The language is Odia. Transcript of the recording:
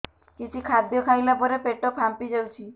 କିଛି ଖାଦ୍ୟ ଖାଇଲା ପରେ ପେଟ ଫାମ୍ପି ଯାଉଛି